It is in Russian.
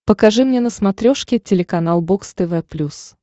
покажи мне на смотрешке телеканал бокс тв плюс